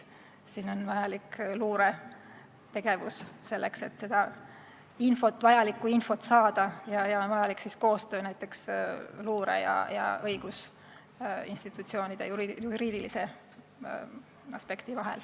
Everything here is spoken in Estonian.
On vaja luuretegevust, et seda infot saada, ja on vaja koostööd näiteks luure ja õigusinstitutsioonide, juriidilise aspekti vahel.